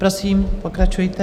Prosím, pokračujte.